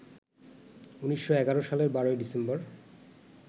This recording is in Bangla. ১৯১১ সালের ১২ ডিসেম্বর